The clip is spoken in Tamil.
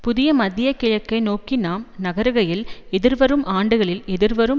புதிய மத்திய கிழக்கை நோக்கி நாம் நகருகையில் எதிர்வரும் ஆண்டுகளில் எதிர்வரும்